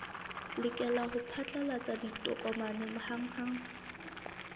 lokela ho phatlalatsa ditokomane hanghang